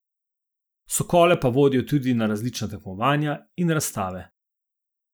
Sokole pa vodijo tudi na različna tekmovanja in razstave.